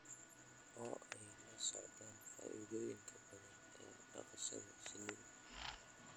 Oo ay la socdaan faa'iidooyinka badan ee dhaqashada shinnida.